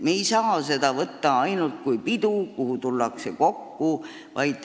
Me ei saa seda võtta ainult kui üht pidu, kuhu tullakse kokku.